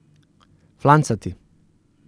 Flancati.